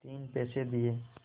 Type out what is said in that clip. तीन पैसे दिए